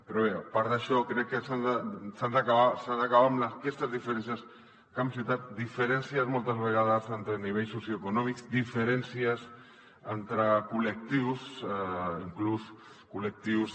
però bé a part d’això crec que s’ha d’acabar amb aquestes diferències camp ciutat diferències moltes vegades entre nivells socioeconòmics diferències entre collectius inclús col·lectius